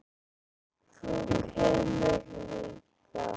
Þú kemur líka!